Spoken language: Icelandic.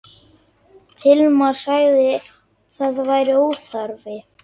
Hilmar sagði að það væri óþarfi.